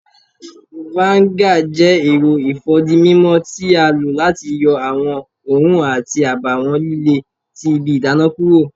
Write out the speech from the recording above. Vinegar jẹ èrò ifódímímó ti a lo láti yọ awọn oòrùn àti àbáwọn lílé tí ibí ìdána kúrò